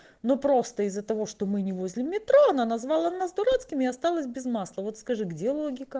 но просто из-за того что мы не возле метро она назвала нас дурацкими и осталась без масла вот скажи где логика